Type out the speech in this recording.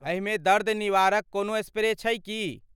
एहिमे दर्द निवारक कोनो स्प्रे छै की?